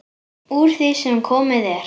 Úr því sem komið er.